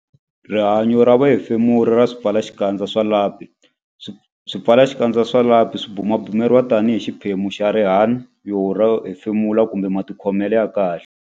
Rihanyo ra vuhefemuri ra swipfalaxikandza swa lapi Swipfalaxikandza swa lapi swi bumabumeriwa tanihi xiphemu xa rihanyo ra vuhefemuri kumbe matikhomelo ya kahle